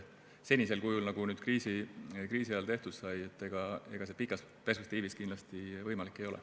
Senisel kujul, nagu kriisi ajal tehtud sai, see pikas perspektiivis kindlasti võimalik ei ole.